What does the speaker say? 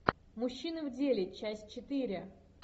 мужчины в деле часть четыре